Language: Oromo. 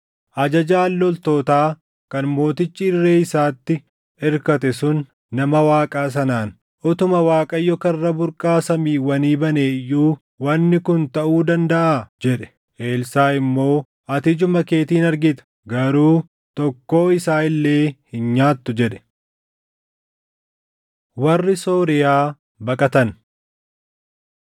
Ajajaan loltootaa kan mootichi irree isaatti irkate sun nama Waaqaa sanaan, “Utuma Waaqayyo karra burqaa Samiiwwanii banee iyyuu wanni kun taʼuu dandaʼaa?” jedhe. Elsaaʼi immoo, “Ati ijuma keetiin argita; garuu tokkoo isaa illee hin nyaattu!” jedhe. Warri Sooriyaa Baqatan